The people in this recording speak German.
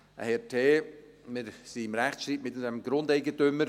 einen Herrn T. Wir sind im Rechtsstreit mit diesem Grundeigentümer.